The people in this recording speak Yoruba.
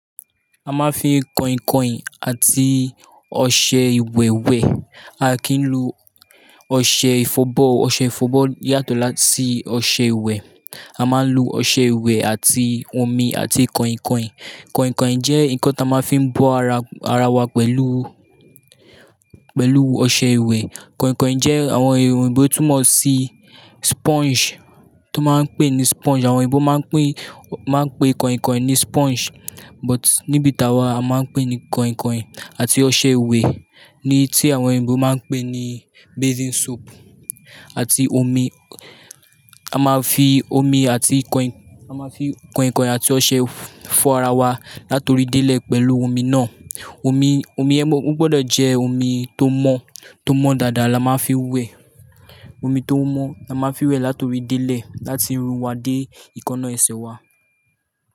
A máa ń fi koinkoin àti ọṣẹ ìwẹ̀ wẹ̀. A kì í lo ọṣẹ ìfọ̀bọ́. Ọṣẹ ìfọ̀bọ́ yàtọ̀ láti ọṣẹ ìwẹ̀. A máa ń lo ọṣẹ ìwẹ̀ àti omi àti koinkain. Koinkain jẹ́ nǹkan tí a máa ń fi bo ara, ara wa pẹ̀lú, pẹ̀lú ọṣẹ ìwẹ̀. Kainkain jẹ́ àwọn ère òyìnbó tó mọ̀ sí sponge tó máa ń pè ní sponge. Àwọn òyìnbó máa ń pè, máa ń pe koinkoin ní sponge. But níbi tawa a máa ń pè é ní kainkain àti ọṣẹ ìwẹ̀ ni tí àwọn òyìnbó máa ń pè ní bathing soap àti omi. A máa fi omi àti kain-- a máa fi kainkain àti ọṣẹ fọ́ ara wa, látọ̀rí délẹ̀ pẹ̀lú omi náà. Omi, omi ẹ́ mọ̀, ó gbọdọ̀ jẹ́ omi tó mọ́, tó mọ́ dáadáa la máa ń fi wẹ̀. Omi tó mọ́ la máa ń fi wẹ̀ látọ̀rí délẹ̀, láti irun wa dé eekanná ẹsẹ̀ wa.